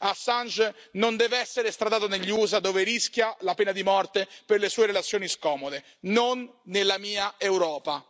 Assange non deve essere estradato negli Usa, dove rischia la pena di morte per le sue relazioni scomode, non nella mia Europa.